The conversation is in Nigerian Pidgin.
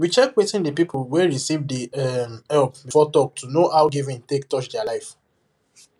we check wetin the people wey receive the um help before talk to know how giving take touch their life